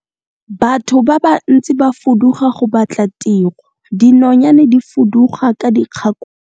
batho ba bantsi ba fuduga go batla tiro, dinonyane di fuduga ka dikgakologo